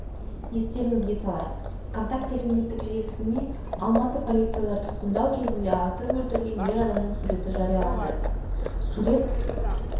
естеріңізге салайық вконтакте әлеуметтік желісіне алматы полициялары тұтқындау кезінде атып өлтірген ер адамның суреті жарияланды сурет